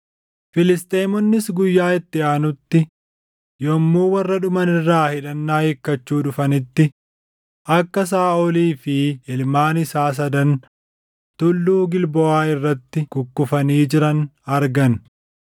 Filisxeemonnis guyyaa itti aanutti yommuu warra dhuman irraa hidhannaa hiikkachuu dhufanitti, akka Saaʼolii fi ilmaan isaa sadan Tulluu Gilboʼaa irratti kukkufanii jiran argan.